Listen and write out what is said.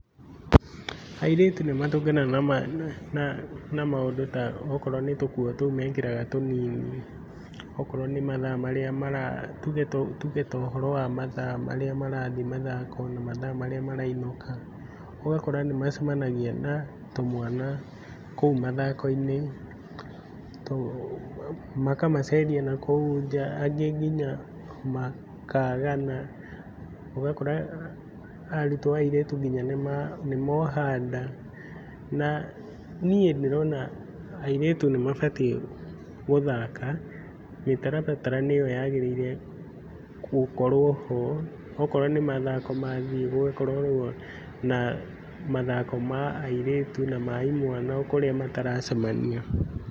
Airĩtu nĩ matũnganaga na maũndũ ta okorwo nĩ tũkũo tũu mekĩraga tũnini ,okorwo nĩ mathaa marĩa tũge ta ũhoro wa mathaa marĩa marathiĩ mathako na mathaa marĩa marainũka ũgakora nĩ macamanagĩa na tũmwana kũu mathako-inĩ makamaceria nakũu njaa angĩ nginya makagana ũgakora arũtwo airĩtu nĩ moha nda na niĩ ndĩrona airĩtu nĩ mabatiĩ gũthaka mĩtaratara nĩyo yagĩrĩirwo nĩ gũkorwo ho, okorwo ni mathako mathiĩ gũgakoragwo na mathako ma airĩtu na mathako ma imwana kũrĩa mataracemania.